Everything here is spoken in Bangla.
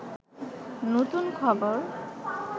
নূতন খবর